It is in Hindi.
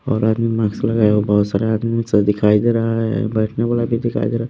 और आदमी मास्क लगाया हुआ बहोत सारा आदमी दिखाई दे रहा है बैठने वाला भी दिखाई दे र--